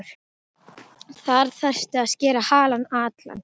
Þar þyrfti að skera halann allan.